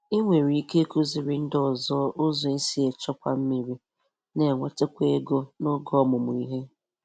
Ị nwere ike ịkụziri ndị ọzọ ụzọ esi echekwa mmiri n'enwetakwa ego n’oge ọmụmụ ihe.